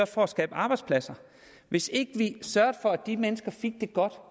for at skabe arbejdspladser hvis ikke vi sørgede for at de mennesker fik det godt